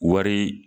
Wari